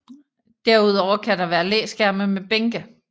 Derudover kan der være læskærme med bænke